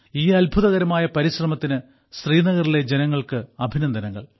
ഈ അത്ഭുതകരമായ പരിശ്രമത്തിന് ശ്രീനഗറിലെ ജനങ്ങൾക്ക് അഭിനന്ദനങ്ങൾ